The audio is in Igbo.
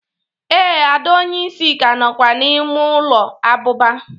Ee, ada onye isi ka nọkwa n’ime ụlọ abụba